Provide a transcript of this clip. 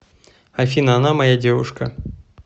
афина она моя девушка